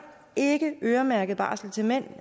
ikke øremærket barsel til mænd